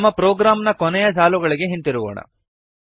ನಮ್ಮ ಪ್ರೋಗ್ರಾಮ್ ನ ಕೊನೆಯ ಸಾಲುಗಳಿಗೆ ಹಿಂತಿರುಗೋಣ